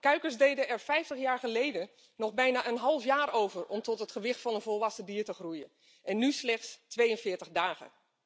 Kuikens deden er 50 jaar geleden nog bijna een half jaar over om tot het gewicht van een volwassen dier te komen en nu slechts 42 dagen.